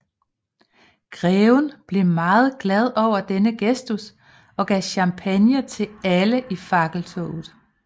Greven blev meget glad over denne gestus og gav champagne til alle i fakkeltoget